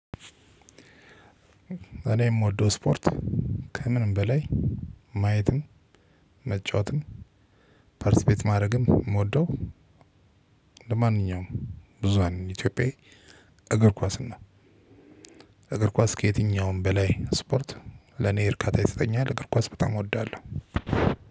እኔ የምወደው ስፖርት ከምንም በላይ ማየትን መጫወትን ፓርትስፔት ማድረግም የምወደው እንደማንኛውም ብዙሃኑ ኢትዮጵያዊ እግር ኩአስን ነው። እግር ኳስ ከየትኛውም በላይ ስፖርት ለኔ እርካታ ይሰጠኛል። ከኳስ በጣም እወዳለሁ።